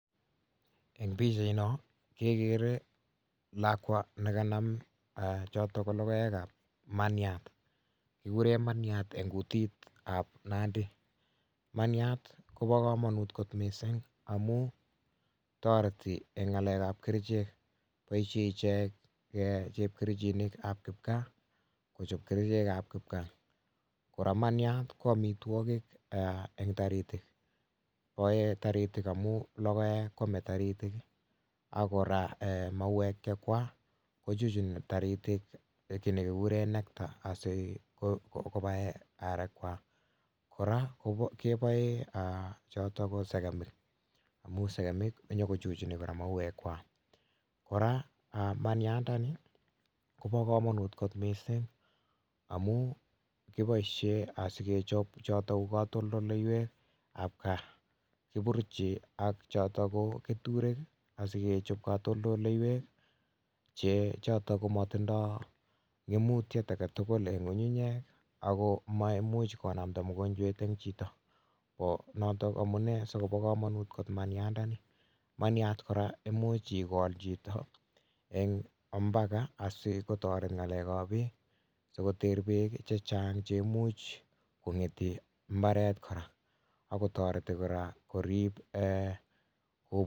Eng pikchaino kekere lakwa nekanam choto ko lokoek ab maniat kikure maniat eng kutit ab Nandi maniat Kobo komonut kot mising amun toreti eng ngalek ab kerichek boishe iche chepkerichinik ab kipkaa kochop kerichek ab kipkaa kora maniat ko omitwokik eng toritik boei toritik amun logoek koomei toritik akora mauwek chekwach kochuchuni toriti kii nekikuree nectar asikobae arek kwak kora keboe sekemik cheu sekemik konyikochuchuni kora mauwek kwak kora maniandani Kobo komonut kot mising amun kiboish asikechop choto ko katoldoleiwek ab kaa kiburuchi ak choto ko keturek sikechop katoldoleiwek chechoto komatindoi ngemutyet agetukul eng ngungunyek ako maimuch konamda mokonjwet chito noto amunee sikobo komonut kora maniandani maniat kora imuch ikol chito eng mpaka sikotoret ngalek ab beek sikoter beek chechang cheimuch koib mbaret kora akotoreti kora korip.